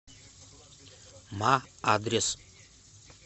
ма адрес